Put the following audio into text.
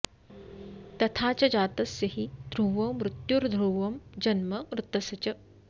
तथा च जातस्य हि ध्रुवो मृत्युर्ध्रुवं जन्म मृतस्य च